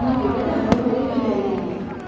Ona görə də hava belə küləkli idi.